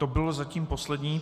To bylo zatím poslední.